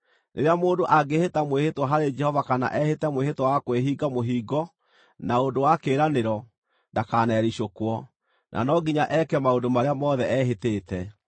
Rĩrĩa mũndũ angĩĩhĩta mwĩhĩtwa harĩ Jehova kana ehĩte mwĩhĩtwa wa kwĩhinga mũhingo na ũndũ wa kĩĩranĩro, ndakanericũkwo, na no nginya eke maũndũ marĩa mothe ehĩtĩte.